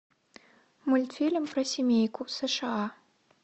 мультфильм про семейку сша